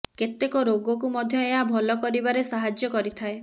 କେତେକ ରୋଗ କୁ ମଧ୍ୟ ଏହା ଭଲ କରିବାରେ ସାହାଯ୍ୟ କରିଥାଏ